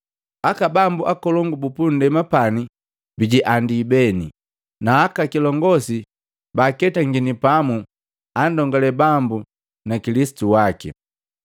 Aka bambu nkolongu bupu ndema pani bijiandii beni, na aka kilongosi baketangini pamu, andongale Bambu na Kilisitu waki.’